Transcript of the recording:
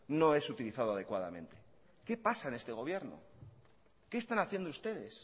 no es utilizado adecuadamente qué pasa en este gobierno qué están haciendo ustedes